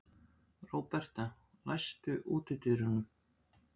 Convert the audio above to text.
Róberta, læstu útidyrunum.